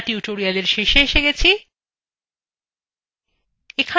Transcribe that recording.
আমরা tutorial শেষে এসে গেছি